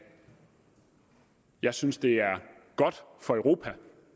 jeg synes det er godt for europa